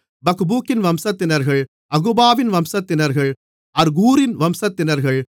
பக்பூக்கின் வம்சத்தினர்கள் அகுபாவின் வம்சத்தினர்கள் அர்கூரின் வம்சத்தினர்கள்